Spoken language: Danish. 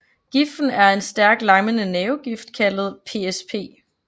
Giften er en stærk lammende nervegift kaldtet PSP